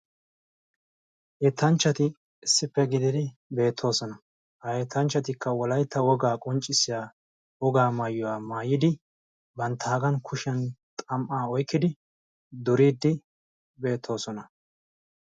yettanchchati issippe gididi beettoosona. ha yetanchchatikka wolaytta wogaa qonccissiya wogaa maayuwaa maayidi bantta kushiyan xam'aa oykkidi duriiddi beettoosona.